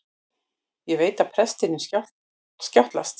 Ég veit að prestinum skjátlast.